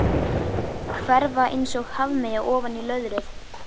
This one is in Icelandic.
Hverfa einsog hafmeyja ofan í löðrið.